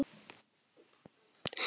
Og láttu svo sjá þig.